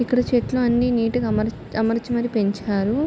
ఇక్కడ చెట్లు అని నీట్ గా అమర్ అమర్చి మరి పెంచారు. .>